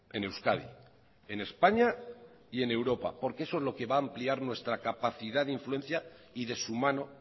en euskadi en españa y en europa porque eso es lo que va a ampliar nuestra capacidad de influencia y de su mano